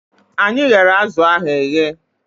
Anyị ghere azụ ahụ eghe